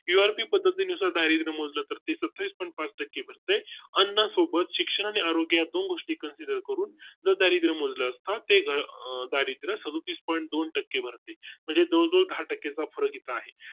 URP पद्धतीनुसार दारिद्र मोजलं तर सत्तावीस Point पाच टक्के भर ते अन्ना सोबत शिक्षण आणि आरोग्य या दोन गोष्टी consider करून दारिद्रय़ामुळे असतात ते दारिद्र सदुतीस point दोन वर टक्के भर ते म्हणजे दो दहा टक्के वापर उचित आहे